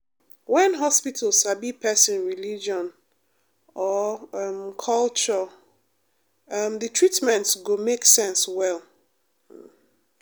when hospital sabi person religion or um culture um the treatment go make sense well. um